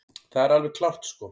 Það er alveg klárt sko.